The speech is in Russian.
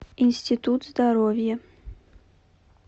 институт здоровья